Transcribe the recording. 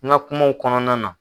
N ka kumaw kɔnɔna na.